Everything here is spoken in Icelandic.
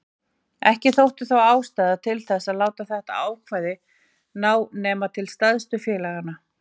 Ekki þótti þó ástæða til þess að láta þetta ákvæði ná nema til stærstu félaganna.